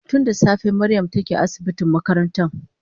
Tun da safe Mariam take asibitin makarantan